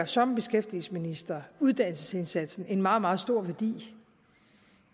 som beskæftigelsesminister uddannelsesindsatsen en meget meget stor værdi